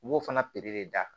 U b'o fana de da